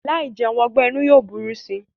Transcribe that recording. Láì jẹun ọgbẹ́-inú yóò burú si.